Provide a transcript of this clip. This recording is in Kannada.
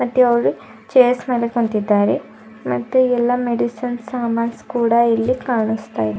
ಮತ್ತೆ ಅವರು ಚೇರ್ಸ್ ಮೇಲೆ ಕುಂತಿದ್ದಾರೆ ಮತ್ತೆ ಎಲ್ಲಾ ಮೆಡಿಸಿನ್ ಸಾಮಾನ್ಸ್ ಕೂಡ ಇಲ್ಲಿ ಕಾಣುಸ್ತಾ ಇದೆ.